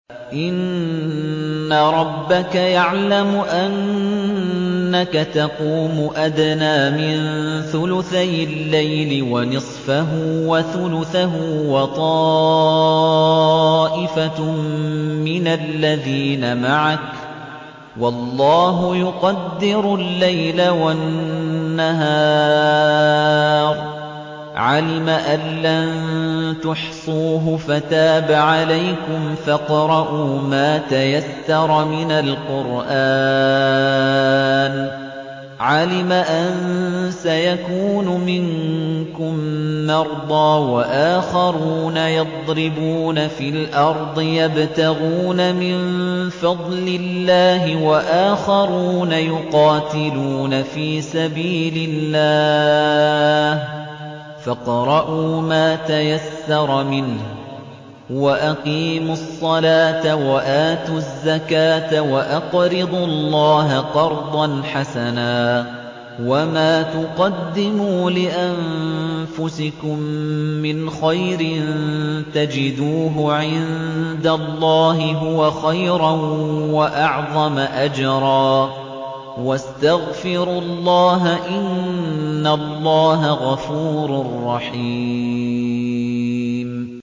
۞ إِنَّ رَبَّكَ يَعْلَمُ أَنَّكَ تَقُومُ أَدْنَىٰ مِن ثُلُثَيِ اللَّيْلِ وَنِصْفَهُ وَثُلُثَهُ وَطَائِفَةٌ مِّنَ الَّذِينَ مَعَكَ ۚ وَاللَّهُ يُقَدِّرُ اللَّيْلَ وَالنَّهَارَ ۚ عَلِمَ أَن لَّن تُحْصُوهُ فَتَابَ عَلَيْكُمْ ۖ فَاقْرَءُوا مَا تَيَسَّرَ مِنَ الْقُرْآنِ ۚ عَلِمَ أَن سَيَكُونُ مِنكُم مَّرْضَىٰ ۙ وَآخَرُونَ يَضْرِبُونَ فِي الْأَرْضِ يَبْتَغُونَ مِن فَضْلِ اللَّهِ ۙ وَآخَرُونَ يُقَاتِلُونَ فِي سَبِيلِ اللَّهِ ۖ فَاقْرَءُوا مَا تَيَسَّرَ مِنْهُ ۚ وَأَقِيمُوا الصَّلَاةَ وَآتُوا الزَّكَاةَ وَأَقْرِضُوا اللَّهَ قَرْضًا حَسَنًا ۚ وَمَا تُقَدِّمُوا لِأَنفُسِكُم مِّنْ خَيْرٍ تَجِدُوهُ عِندَ اللَّهِ هُوَ خَيْرًا وَأَعْظَمَ أَجْرًا ۚ وَاسْتَغْفِرُوا اللَّهَ ۖ إِنَّ اللَّهَ غَفُورٌ رَّحِيمٌ